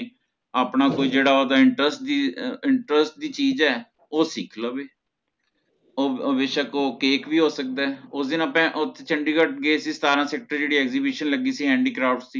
ਅਪਾ ਕੋਈ ਜੇਹੜਾ ਓਹਦਾ Interest interest ਦੀ ਚੀਜ਼ ਹੈ ਮਤਲਬ ਓਹ ਸਿਖ੍ਲਵੇ ਓਹ ਓਹ ਬੇਸ਼ਕ ਓਹ cake ਵੀ ਹੋ ਸਕਦੇ ਓਹ ਦਿਨ ਅਪਾ ਚੰਡੀਗੜ੍ਹ ਗਏ ਸੀ ਸੱਤਰਾ ਸੇਕ੍ਤੋਰ ਓਹ੍ਤੇ Exhibition ਲਗੀ ਸੀ Handycraft ਦੀ